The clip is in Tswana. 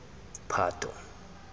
phato